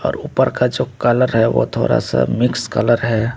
और ऊपर का जो कलर है वो थोड़ा सा मिक्स कलर है।